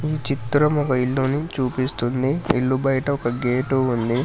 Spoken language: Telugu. ఈ చిత్రం ఒక ఇల్లుని చూపిస్తుంది ఇల్లు బయట ఒక గేటు ఉంది.